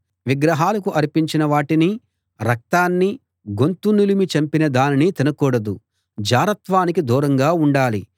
విగ్రహాలకు అర్పించిన వాటినీ రక్తాన్నీ గొంతు నులిమి చంపిన దానినీ తినకూడదు జారత్వానికి దూరంగా ఉండాలి